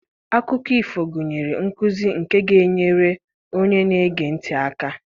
Akụkọ ifo gụnyere nkuzi nke ga-enyere onye na-ege ntị aka.